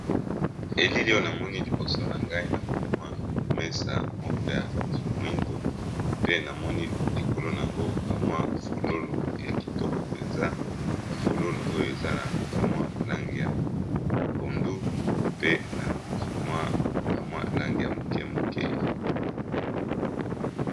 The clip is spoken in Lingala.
Elilio oyo na moni liboso na ngai na moni mwa mesa moko ya moindo pe na moni likolo na yango ba mwa fololo ya kitoko mpenza ba fololo oyo eza na ba mwa langi ya pondu pe na mwa ba mwa langi ya moke moke.